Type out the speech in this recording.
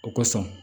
O kosɔn